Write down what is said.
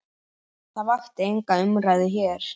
Það vakti enga umræðu hér.